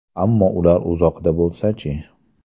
Ammo ular uzoqda bo‘lsa-chi?